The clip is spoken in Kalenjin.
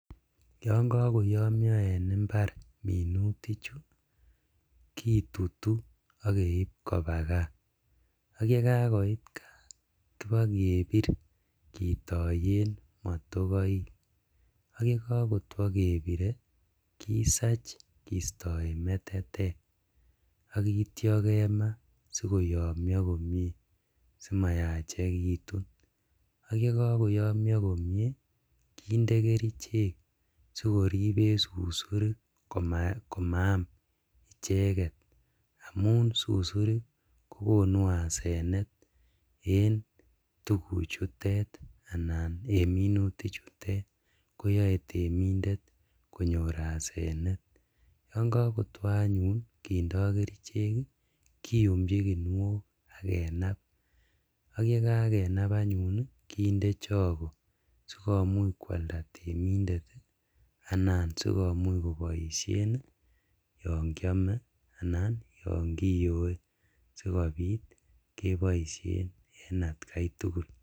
Yon kokoyomio minutichu en imbar kitutu ak keib kobaa kaa ,ak yekakoit kaa kobokebir kitoyen motokoik ak yekokotwo kebire kisach kitoyen metetek ak itio kemaa sikoyomio komie simayachekitun ak yekokoyomio komie kinde kerichek simayachelitun ak koter en susurik komaam icheget, amun susurik kokonu asenet en tuguchutet anan en minutichutet koyoe temindet konyor asenet, yon kokotwo anyun kindee kerichek kiyumchi kinuet ak kenab ak yekakenab anyun kindee chokoo sikomuch kwalda temindet anan sikomuchkoboisien yon kiome anan yon kiyoe sikobit keboisien en atkaitugul.